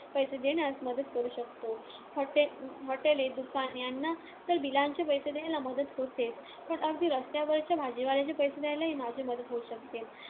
पैसे देण्यास मदत करू शकतो. hotel hotels, दुकाने यांना तर bills चे पैसे द्यायला मदत होतेच. पण अगदी रस्त्यावरच्या भाजीवाल्याचे पैसे द्यायलाही माझी मदत होऊ शकते.